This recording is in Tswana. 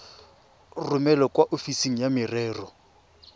romele kwa ofising ya merero